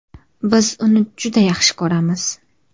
Biz uni juda yaxshi ko‘ramiz.